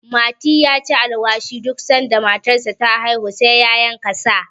mati ya ci alwashi duk sanda matarsa ta haihu sai ya yanka sa